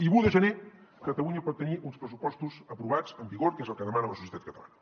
i l’un de gener catalunya pot tenir uns pressupostos aprovats en vigor que és el que demana la societat catalana